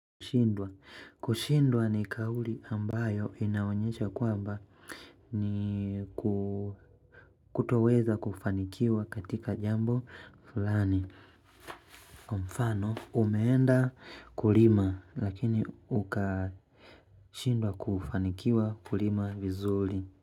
Kushindwa. Kushindwa ni kauli ambayo inaonyesha kwamba ni kutoweza kufanikiwa katika jambo fulani. Mfano umeenda kulima lakini ukashindwa kufanikiwa kulima vizuli.